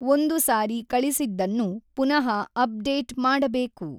ಒಂದು ಸಾರಿ ಕಳಿಸಿದ್ದನ್ನು ಪುನಃ ಅಪ್ ಡೇಟ್ ಮಾಡಬೇಕು.